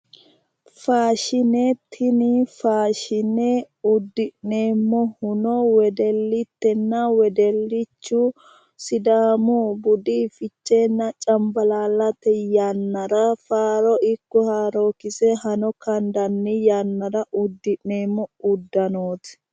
Faashine, tini faashine udi'neemmohuno wedelitenna wedelichu sidaamu budu ficheenna cambalaallate yannara faaro ikko haarokise hano kandanni yannara udi'neemmo udanoti